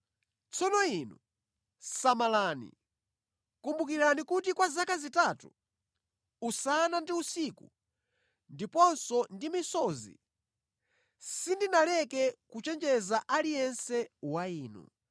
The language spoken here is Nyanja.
Tsono inu, samalani! Kumbukirani kuti kwa zaka zitatu, usana ndi usiku ndiponso ndi misozi sindinaleke kuchenjeza aliyense wa inu.